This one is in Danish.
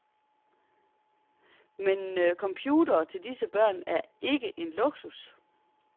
Men computere til disse børn er ikke en luksus.